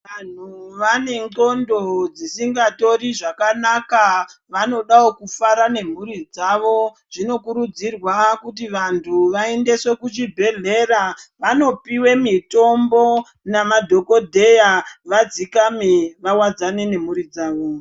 Vantu vanexondo dzisingatori zvakanaka vanodawo kufara ngemhuri dzavo, zvinokurudzirwa kuti vantu vaendeswe kuchibhedhlera vanopiwe mitombo namadhokodheya vadzikame vawadzane nemhuri dzavo.